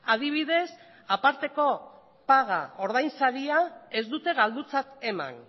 adibidez aparteko paga ordainsaria ez dute galdutzat eman